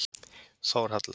Þórhalla